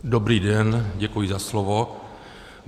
Dobrý den, děkuji za slovo.